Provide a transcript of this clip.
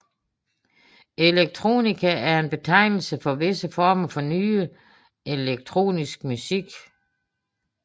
Electronica er en betegnelse for visse former for nyere elektronisk musik